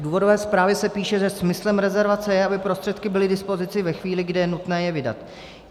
V důvodové zprávě se píše, že smyslem rezervace je, aby prostředky byly k dispozici ve chvíli, kdy je nutné je vydat.